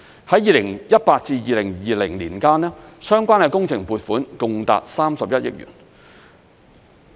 在2018年至2020年間，相關的工程撥款共達31億元。